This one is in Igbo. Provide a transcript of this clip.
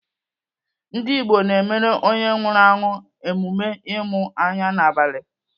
Ndigbo na-emere onye nwụrụ anwụ emume ịmụ anya n'abalị.